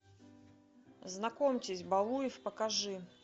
знакомьтесь балуев покажи